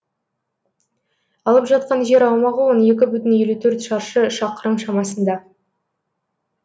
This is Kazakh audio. алып жатқан жер аумағы он екі бүтін елу төрт шаршы шақырым шамасында